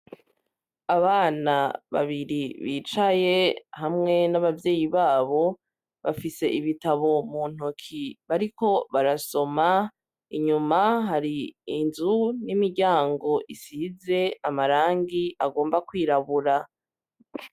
Abana babiri bicaye, hamwe n'abavyeyi babo, bafise ibitabo mu ntoki bariko barasoma; Inyuma hari inzu n'imiryango isize amarangi agomba kwirabura.